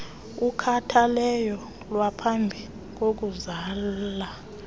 ukhathalelo lwaphambi kokuzala